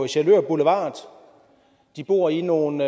sjælør boulevard de bor i nogle